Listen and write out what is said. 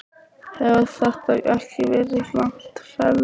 Hefur þetta ekki verið langt ferli?